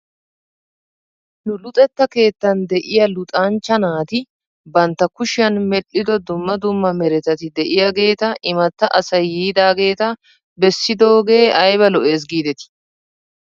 Nu luxetta keettan de'iyaa luxanchcha naati bantta kushiyan medhdhido dumma dumma meretati de'iyaageeta imatta asay yiidaageeta bessidoogee ayba lo'es giidetii?